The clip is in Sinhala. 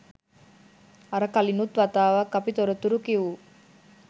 අර කලිනුත් වතාවක් අපි තොරතුරු කිවූ